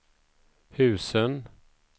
husen